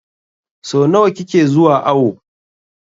So nawa kike zuwa awo?